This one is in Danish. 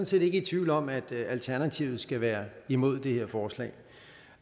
set ikke i tvivl om at alternativet skal være imod det her forslag